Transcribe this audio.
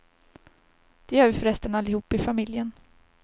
Det gör vi förresten allihop i familjen.